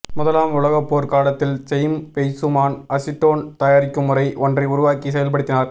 முதலாம் உலகப் போர் காலத்தில் செய்ம் வெய்சுமான் அசிட்டோன் தயாரிக்கும் முறை ஒன்றை உருவாக்கி செயல்படுத்தினார்